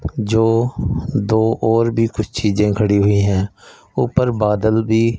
जो दो और भी कुछ चीजे खड़ी हुई है ऊपर बादल भी--